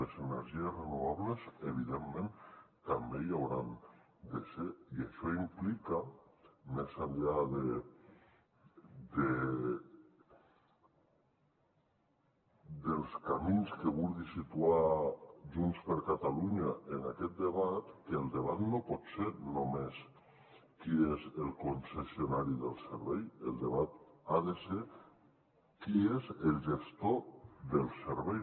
les energies renovables evidentment també hi hauran de ser i això implica més enllà dels camins que vulgui situar junts per catalunya en aquest debat que el debat no pot ser només qui és el concessionari del servei el debat ha de ser qui és el gestor del servei